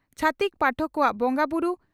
ᱪᱷᱟᱹᱛᱤᱠ ᱯᱟᱴᱚᱠ ᱠᱚᱣᱟᱜ ᱵᱚᱸᱜᱟ ᱵᱩᱨᱩ